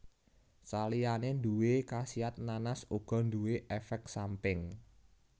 Saliyane nduwé khasiat nanas uga nduwe éfék samping